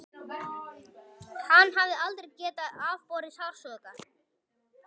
Hann hafði aldrei getað afborið sársauka.